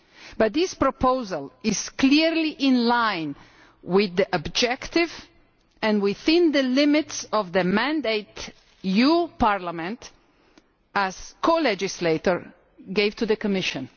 But this proposal is clearly in line with the objectives and within the limits of the mandate this Parliament, as co legislator, gave to the Commission.